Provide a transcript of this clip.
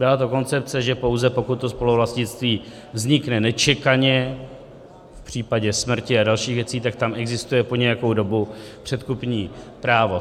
Byla to koncepce, že pouze pokud to spoluvlastnictví vznikne nečekaně, v případě smrti a dalších věcí, tak tam existuje po nějakou dobu předkupní právo.